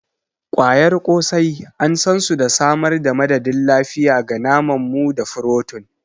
ƙwayar ƙosai an san su da samar da madadin lafiya ga naman mu da furotin.